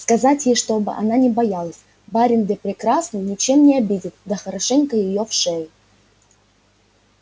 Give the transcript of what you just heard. сказать ей чтоб она не боялась барин-де прекрасный ничем не обидит да хорошенько её в шею